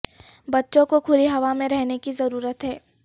بچوں کو کھلی ہوا میں رہنے کی ضرورت ہے